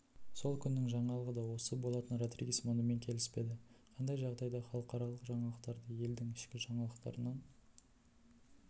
сол күннің жаңалығы да осы болатын родригес мұнымен келіспеді қандай жағдайда халықаралық жаңалықтарды елдің ішкі жаңалықтарынан